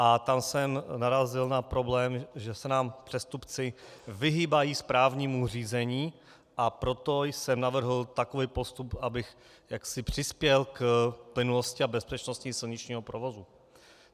A tam jsem narazil na problém, že se nám přestupci vyhýbají správnímu řízení, a proto jsem navrhl takový postup, abych jaksi přispěl k plynulosti a bezpečnosti silničního provozu.